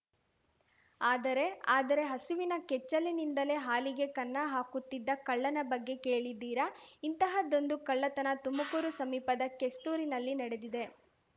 ಆದರೆ ಆದರೆ ಹಸುವಿನ ಕೆಚ್ಚಲಿನಿಂದಲೇ ಹಾಲಿಗೆ ಕನ್ನ ಹಾಕುತ್ತಿದ್ದ ಕಳ್ಳನ ಬಗ್ಗೆ ಕೇಳಿದ್ದೀರಾ ಇಂತಹದ್ದೊಂದು ಕಳ್ಳತನ ತುಮಕೂರು ಸಮೀಪದ ಕೆಸ್ತೂರಿನಲ್ಲಿ ನಡೆದಿದೆ